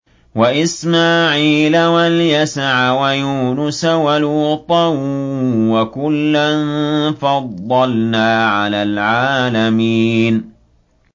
وَإِسْمَاعِيلَ وَالْيَسَعَ وَيُونُسَ وَلُوطًا ۚ وَكُلًّا فَضَّلْنَا عَلَى الْعَالَمِينَ